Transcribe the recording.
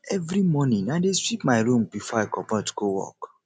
every morning i dey sweep my room before i comot go work